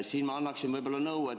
Siin ma annaksin nõu.